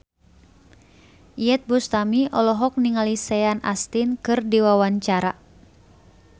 Iyeth Bustami olohok ningali Sean Astin keur diwawancara